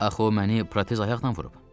Axı o məni protez ayaqla vurub.